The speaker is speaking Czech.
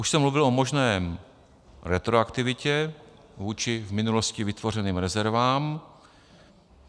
Už jsem mluvil o možné retroaktivitě vůči v minulosti vytvořeným rezervám.